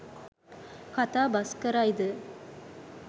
කතාබස් කරයි ද